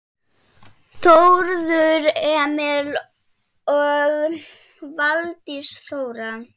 Þórður Emil og Valdís Þóra.